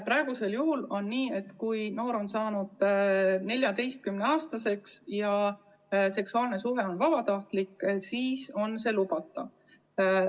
Praegusel juhul on nii, et kui noor on saanud 14‑aastaseks ja seksuaalne suhe on vabatahtlik, siis on see lubatud.